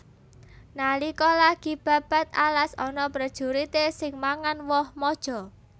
Nalika lagi babad alas ana prejurité sing mangan woh maja